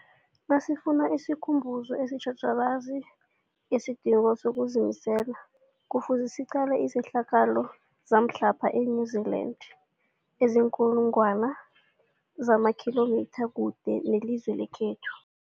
Nasifuna isikhumbuzo esitjhatjhalazi ngesidingo sokuzimisela, Kufuze siqale izehlakalo zamhlapha e-New Zealand eziinkulu ngwana zamakhilomitha kude nelizwe lekhethu.